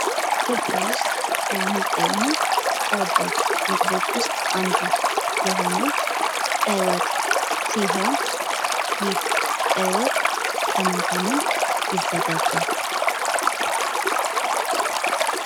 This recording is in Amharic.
ኢትዮጵያ ውስጥ ከሚገኙ ተወዳጅ ምግቦች ውስጥ አንዱ የሆነው ቀይ ወጥ ሲሆን ይህ ቀይ ወጥ ከምን ከምን ይዘጋጃል?